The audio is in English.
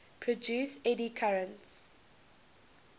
produce eddy currents